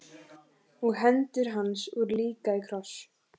Og hendur hans voru líka í kross.